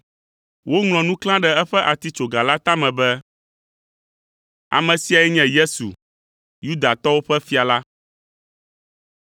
Woŋlɔ nu klã ɖe eƒe atitsoga la tame be, Ame siae nye Yesu, Yudatɔwo ƒe Fia la.